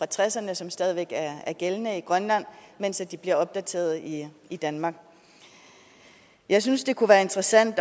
tresserne som stadig væk er gældende i grønland mens de bliver opdateret i i danmark jeg synes det kunne være interessant